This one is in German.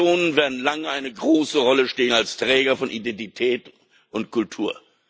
Die Nationen werden lange eine große Rolle spielen als Träger von Identität und Kultur.